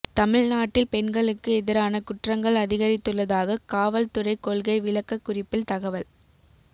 தமிழ்நாட்டில் பெண்களுக்கு எதிரான குற்றங்கள் அதிகரித்துள்ளதாக காவல்துறை கொள்கை விளக்க குறிப்பில் தகவல்